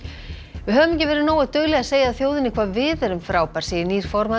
við höfum ekki verið nógu dugleg að segja þjóðinni hvað við erum frábær segir nýr formaður